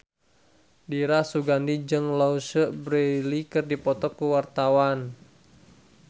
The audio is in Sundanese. Dira Sugandi jeung Louise Brealey keur dipoto ku wartawan